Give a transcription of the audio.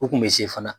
U kun bɛ se fana